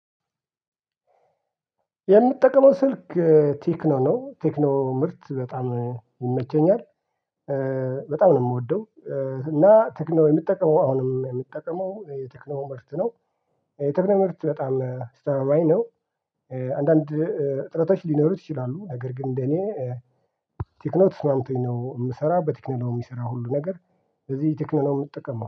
የምጠቀመው ስልክ ቴክኖ ነው ቴክኖ ምርት በጣም ይመቸኛል በጣም ነው የምወደው። እና ቴክኖ የምጠቀመው አሁንም የምጠቀመው የቴክኖ ምርት ነው። የቴክኖ ምርት በጣም አስተማማኝ ነው። አንዳንድ እጥረቶች ሊኖሩት ይችላሉ ነገር ግን እንደኔ ቴክኖ ተስማምቶኝ ነው የምሰራው በቴክኖ የምሰራው ሁሉ ነገር። ለዚህ ቴክኖ የምጠቀመው